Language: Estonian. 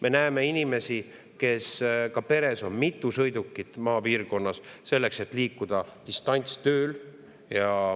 Me näeme maapiirkonnas inimesi, kel on peres mitu sõidukit, selleks et liikuda distantsilt tööle.